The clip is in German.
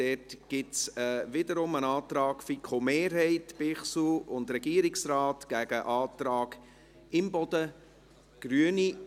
Dort gibt es wiederum einen Antrag FiKo-Mehrheit, Bichsel und Regierungsrat, gegen den Antrag Imboden, Grüne.